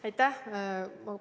Aitäh!